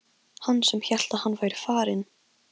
Hann sem hélt að hann væri farinn!